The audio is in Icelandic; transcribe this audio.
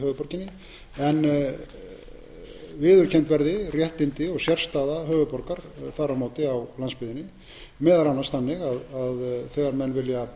höfuðborginni en viðurkennd verði réttindi og sérstaða höfuðborgar þar á móti á landsbyggðinni meðal annars þannig að þegar menn vilja